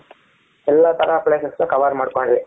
ಎಲ್ಲಾ ತರ places ನು cover ಮಾಡ್ಕೊಂಡ್ವಿ.